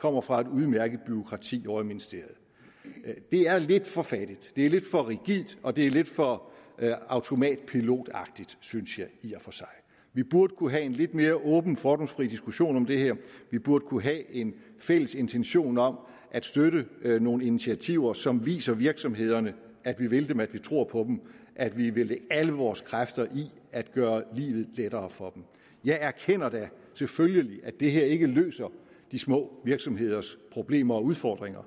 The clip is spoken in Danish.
kommer fra et udmærket bureaukrati ovre i ministeriet det er lidt for fattigt det er lidt for rigidt og det er lidt for automatpilotagtigt synes jeg i og for sig vi burde kunne have en lidt mere åben fordomsfri diskussion om det her vi burde kunne have en fælles intention om at støtte nogle initiativer som viser virksomhederne at vi vil dem at vi tror på dem at vi vil lægge alle vores kræfter i at gøre livet lettere for dem jeg erkender da selvfølgelig at det her ikke løser de små virksomheders problemer og udfordringer